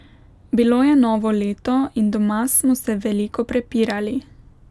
Bilo je novo leto in doma smo se veliko prepirali.